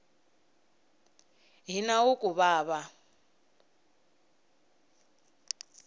hi nawu ku va va